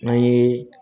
N'an ye